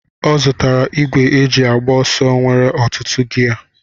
Ọ zụtara igwe ejị agba ọsọ nwere ọtụtụ giyé